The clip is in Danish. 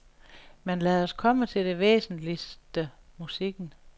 Men lad os komme til det væsentligste, musikken.